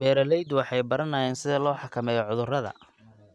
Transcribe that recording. Beeraleydu waxay baranayaan sida loo xakameeyo cudurrada.